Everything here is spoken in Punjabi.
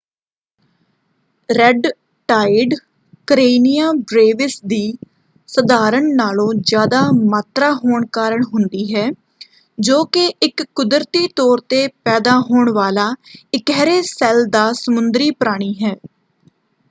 ਰੈੱਡ ਟਾਈਡ ਕਰੇਨੀਆ ਬ੍ਰੇਵਿਸ ਦੀ ਸਧਾਰਨ ਨਾਲੋਂ ਜ਼ਿਆਦਾ ਮਾਤਰਾ ਹੋਣ ਕਾਰਨ ਹੁੰਦੀ ਹੈ ਜੋ ਕਿ ਇੱਕ ਕੁਦਰਤੀ ਤੌਰ ‘ਤੇ ਪੈਦਾ ਹੋਣ ਵਾਲਾ ਇਕਿਹਰੇ ਸੈੱਲ ਦਾ ਸਮੁੰਦਰੀ ਪ੍ਰਾਣੀ ਹੈ।